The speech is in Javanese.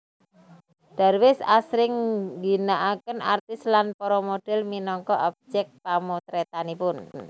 Darwis asring ngginakaken artis lan para model minangka objek pamotretanipun